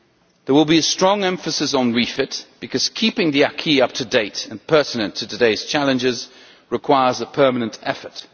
There will be a strong emphasis on REFIT, because keeping the acquis up to date and pertinent to today's challenges requires a permanent effort.